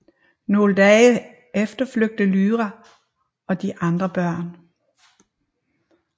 Nogle dage efter flygter Lyra og de andre børn